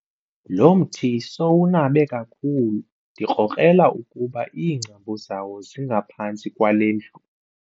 Lo mthi sowunabe kakhulu ndikrokrela ukuba iingcambu zawo zingaphantsi kwale ndlu.